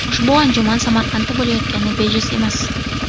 Ushbu anjuman Samarqandda bo‘layotgani bejiz emas.